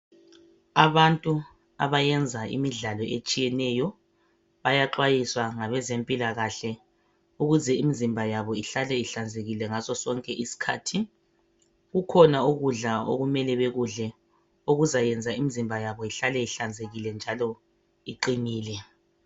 Abantu abayenza imidlalo etshiyeneyo bayaxhayiswa ngabezempilakahle ukuze imizimba yabo ihlale ihlanzekile ngaso sonke isikhathi kukhona ukudla okumele bekudle okuzayenza imizimba yabo ihlale ihlanzekile njalo iqinile.